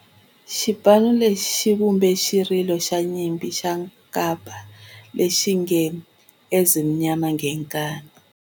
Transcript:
Xipano lexi xi vumbe xirilo xa nyimpi xa kampa lexi nge 'Ezimnyama Ngenkani'.